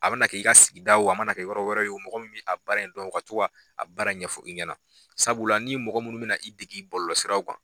A mana kɛ i ka sigida o, a mana kɛ yɔrɔ wɛrɛ ye o, mɔgɔ min b'i a baara in dɔn o ka tu a baara in ɲɛfɔ i ɲɛna, sabula n'i mɔgɔ munnu bɛ na i degi' bɔlɔlɔ siraw kan.